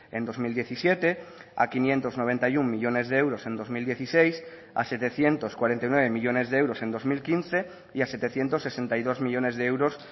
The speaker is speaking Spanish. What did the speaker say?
en dos mil diecisiete a quinientos noventa y uno millónes de euros en dos mil dieciséis a setecientos cuarenta y nueve millónes de euros en dos mil quince y a setecientos sesenta y dos millónes de euros